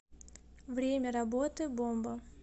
время работы бомба